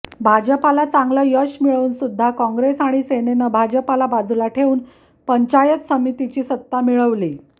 भाजपला चांगलं यश मिळवून सुध्दा काँग्रेस आणि सेनेनं भाजपला बाजूला ठेवून पंचायत समितीची सत्ता मिळवली